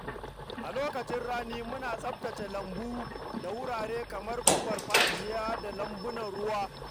A lokacin rani, muna tsaftace lambu da wurare kamar farfajiya da lambunan ruwa.